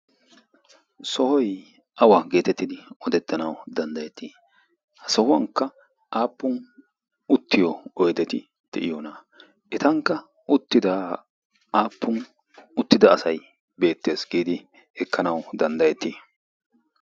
sohoy awa getettidi odettanaw danddayeti? ha sohuwannka aappun uttiyo oydeti de'iyoona? etankka uttida aappun uttida asay bettees giidi ekkanaw danddayeti?